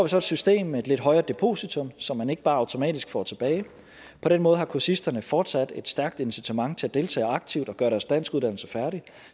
så et system med et lidt højere depositum som man ikke bare automatisk får tilbage på den måde har kursisterne fortsat et stærkt incitament til at deltage aktivt og gøre deres danskuddannelse færdig